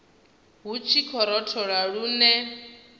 hu tshi khou rothola lune